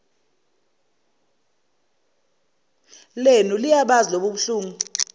lenu liyabazi lobobuhlungu